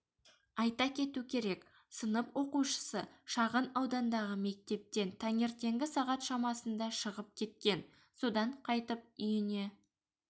айта кету керек сынып оқушысы шағын аудандағы мектептен таңертеңгі сағат шамасында шығып кеткен содан қайтіп үйіне